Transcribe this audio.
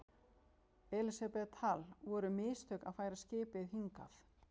Elísabet Hall: Voru mistök að færa skipið hingað?